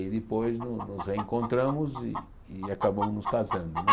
E depois no nos reencontramos e e acabamos nos casando né.